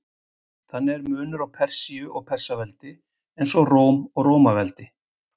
Þannig er munur á Persíu og Persaveldi, eins og á Róm og Rómaveldi.